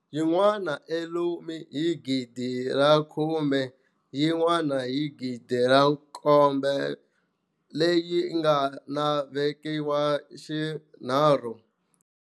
Yin'wana eUlm hi 10000, yin'wana hi 7000 leyi nga na vekiwa xinharhu.